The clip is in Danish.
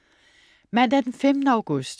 Mandag den 15. august